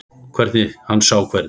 Hann sá hvernig